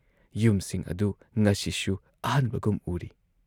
ꯌꯨꯝꯁꯤꯡ ꯑꯗꯨ ꯉꯁꯤꯁꯨ ꯑꯍꯟꯕꯒꯨꯝ ꯎꯔꯤ ꯫